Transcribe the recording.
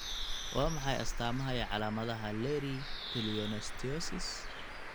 Waa maxay astamaha iyo calaamadaha Leri pleonosteosis?